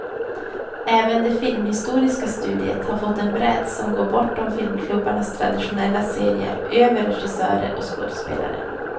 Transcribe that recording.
Även det filmhistoriska studiet har fått en bredd som går bortom filmklubbarnas traditionella serier över regissörer och skådespelare.